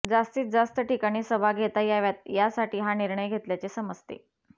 जास्तीत जास्त ठिकाणी सभा घेता याव्यात यासाठी हा निर्णय घेतल्याचे समजते